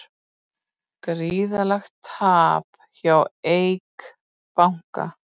Gríðarlegt tap hjá Eik banka